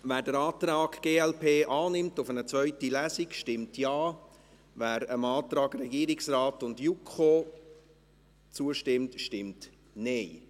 Wer den Antrag glp auf eine zweite Lesung annimmt, stimmt Ja, wer dem Antrag Regierungsrat und JuKo zustimmt, stimmt Nein.